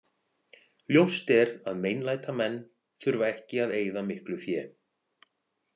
Ljóst er að meinlætamenn þurfa ekki að eyða miklu fé.